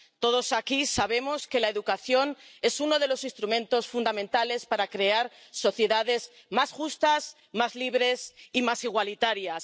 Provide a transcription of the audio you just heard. Todos aquí sabemos que la educación es uno de los instrumentos fundamentales para crear sociedades más justas, más libres y más igualitarias.